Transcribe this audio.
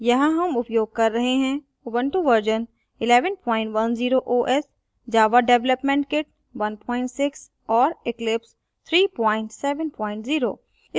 यहाँ हम उपयोग कर रहे हैं